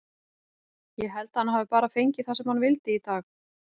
Ég held að hann hafi bara fengið það sem hann vildi í dag.